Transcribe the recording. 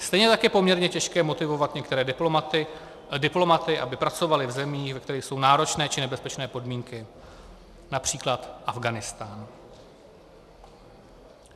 Stejně tak je poměrně těžké motivovat některé diplomaty, aby pracovali v zemích, ve kterých jsou náročné či nebezpečné podmínky, například Afghánistán.